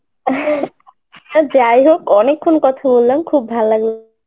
যাই হোক অনেকক্ষণ কথা বললাম খুব ভালো লাগলো